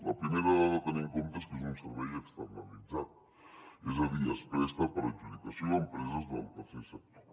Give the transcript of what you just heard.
la primera dada a tenir en compte és que és un servei externalitzat és a dir es presta per adjudicació a empreses del tercer sector